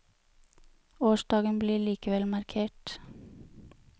Årsdagen blir likevel markert.